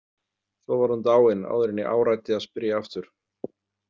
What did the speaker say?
Svo var hún dáin áður en ég áræddi að spyrja aftur.